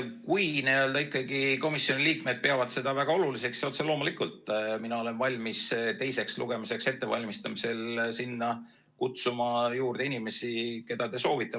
Kui ikkagi komisjoni liikmed peavad seda väga oluliseks, siis otse loomulikult, mina olen valmis teiseks lugemiseks ettevalmistamisel sinna kutsuma inimesi, keda te soovite.